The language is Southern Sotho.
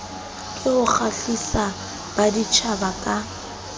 ke ho kgahlisa baditjhaba ka